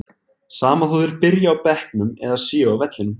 Sama þó þeir byrji á bekknum eða séu á vellinum.